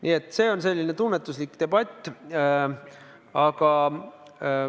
Nii et see on selline tunnetuslik küsimus.